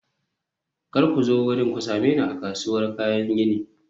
kar ku zo wurin, ku same ni a kasuwar kayan gini.